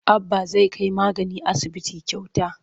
Abba zai kai magani asibiti kyauta.